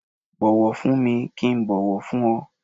Bu ọ̀wọ̀ fún mi kí n bọ̀wọ̀ fún ọ